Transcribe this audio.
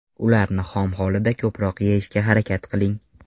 Ularni xom holida ko‘proq yeyishga harakat qiling.